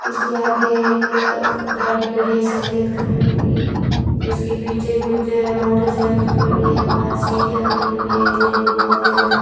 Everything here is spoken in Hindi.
इसके आगे एक गाड़ी खड़ी है सफेद कलर की इसके पीछे कुछ मोटरसाइकिल खड़ी है बाहर सीढ़ियां बनी हुई है इधर एक बहोत ही बड़ा --